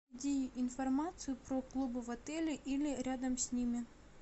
найди информацию про клубы в отеле или рядом с ними